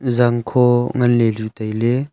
zangkho ngan ley ley tai ley.